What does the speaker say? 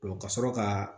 ka sɔrɔ ka